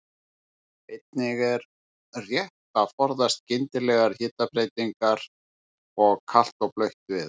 Einnig er rétt að forðast skyndilegar hitabreytingar og kalt og blautt veður.